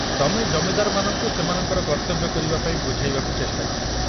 ତମେ ଜମିଦାରମାନଙ୍କୁ ସେମାନଙ୍କର କର୍ତ୍ତବ୍ୟ କରିବା ପାଇଁ ବୁଝାଇବାକୁ ଚେଷ୍ଟା କର।